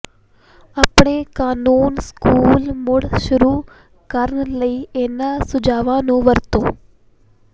ਆਪਣੇ ਕਾਨੂੰਨ ਸਕੂਲ ਮੁੜ ਸ਼ੁਰੂ ਕਰਨ ਲਈ ਇਹਨਾਂ ਸੁਝਾਆਂ ਨੂੰ ਵਰਤੋ